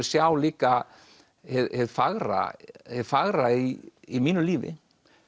sjá líka hið fagra hið fagra í í mínu lífi